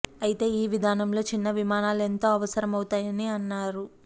అయితే ఈ విధానంలో చిన్న విమానాలు ఎంతో అవసరం అవుతాయని అన్నారు